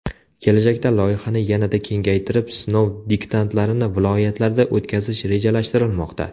Kelajakda loyihani yanada kengaytirib, sinov diktantlarini viloyatlarda o‘tkazish rejalashtirilmoqda.